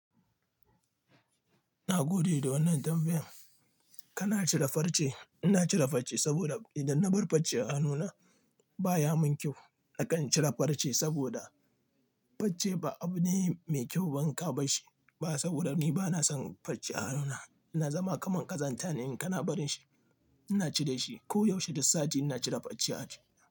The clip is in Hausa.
Na gode da wannan tambayan. Kana cire farce, ina cire farce saboda idan na bar farce a hanuna baya mun kyau. Nakan cire farce saboda farce ba abu ne mai kyau banka ba shi. Ba saboda ni bana son farce a anona. Na zama kaman ƙazanta ne in kana barin shi. Ina ci da shi ko yaushe, duk sati ina cire farce a ci.